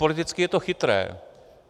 Politicky je to chytré.